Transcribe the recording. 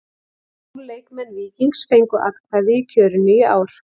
Tólf leikmenn Víkings fengu atkvæði í kjörinu í ár.